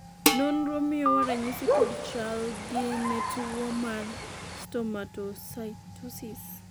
nonro miyowa ranyisi kod chalgi ne tuo mar stomatocytosis